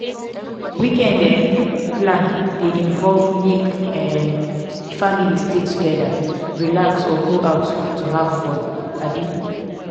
weekend um plan de involve make um di family stay together relax or go out to have to have fun um